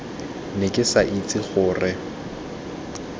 ne ke sa itse gore